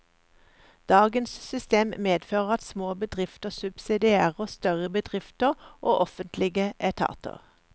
Dagens system medfører at små bedrifter subsidierer større bedrifter og offentlige etater.